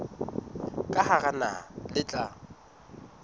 ka hara naha le tla